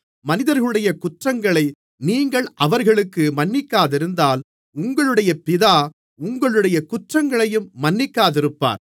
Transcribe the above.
மனிதர்களுடைய குற்றங்களை நீங்கள் அவர்களுக்கு மன்னிக்காதிருந்தால் உங்களுடைய பிதா உங்களுடைய குற்றங்களையும் மன்னிக்காதிருப்பார்